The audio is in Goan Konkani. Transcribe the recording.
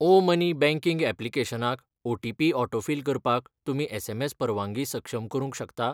ओ मनी बँकिंग ऍप्लिकेशनाक ओटीपी ऑटोफिल करपाक तुमी एसएमएस परवानगी सक्षम करूंक शकता?